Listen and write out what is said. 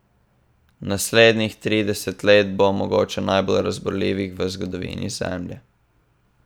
Naslednjih trideset let bo mogoče najbolj razburljivih v zgodovini Zemlje.